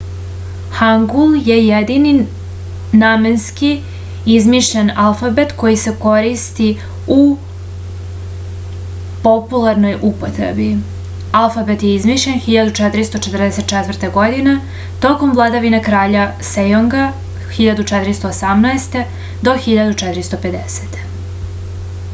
хангул је једини наменски измишљен алфабет који се користи у популарној употреби. алфабет је измишљен 1444. године током владавине краља сејонга 1418-1450